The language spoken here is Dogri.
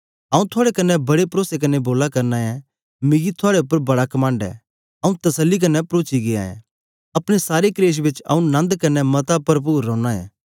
आंऊँ थुआड़े कन्ने बड़े परोसे क्न्ने बोला करना ऐं मिकी थुआड़े उपर बड़ा कमंड ऐ आंऊँ तसल्ली कन्ने परोची गीया ऐं अपने सारे कलेश बेच आंऊँ नन्द कन्ने मता परपुर रौना ऐ